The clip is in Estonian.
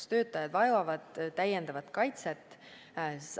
Kas töötajad vajavad täiendavat kaitset?